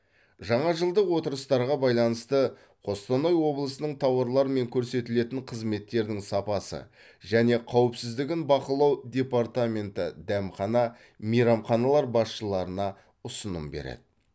жаңа жылдық отырыстарға байланысты қостанай облысының тауарлар мен көрсетілетін қызметтердің сапасы және қауіпсіздігін бақылау департаменті дәмхана мейрамханалар басшыларына ұсыным береді